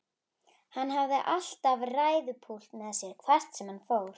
Hann hafði alltaf ræðupúlt með sér hvert sem hann fór.